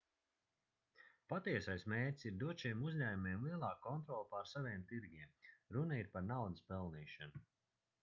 patiesais mērķis ir dot šiem uzņēmumiem lielāku kontroli pār saviem tirgiem runa ir par naudas pelnīšanu